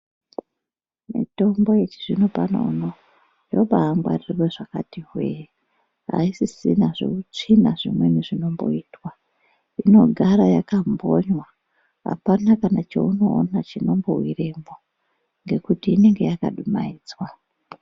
Mitombo yechizvino pano yobangwarirwa zvakati hwee aisisina zveutsvina zvimweni zvinomboitwa, inogara yakambonywa apana kana chaunoona chinombowiremwo ngekuti inenge yakadumaidzwa.